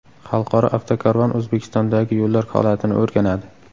Xalqaro avtokarvon O‘zbekistondagi yo‘llar holatini o‘rganadi.